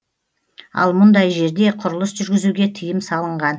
ал мұндай жерде құрылыс жүргізуге тыйым салынған